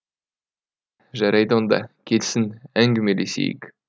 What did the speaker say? жарайды оңда келсін әңгімелесейік